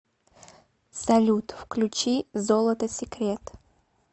салют включи золото секрет